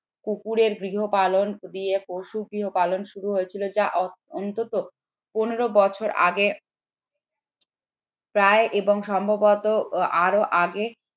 কুকুরের গৃহপালন গৃহে পশু গৃহপালন শুরু হয়েছিল যা অন্তত পনেরো বছর আগে প্রায় এবং সম্ভবত আরো আগে